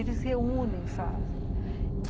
Eles se reúnem e fazem.